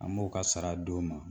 An b'o ka sara di u ma